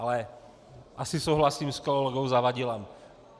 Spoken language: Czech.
Ale asi souhlasím s kolegou Zavadilem.